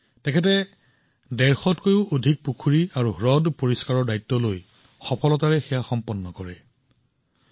তেওঁ ১৫০ তকৈও অধিক পুখুৰী আৰু হ্ৰদ পৰিষ্কাৰ কৰাৰ দায়িত্ব গ্ৰহণ কৰিছিল আৰু ইয়াক সফলতাৰে সম্পূৰ্ণ কৰিছে